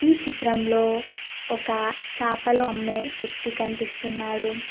ఈ చిత్రంలో ఒక చాపలు అమ్మే వ్యక్తి కనిపిస్తున్నాడు.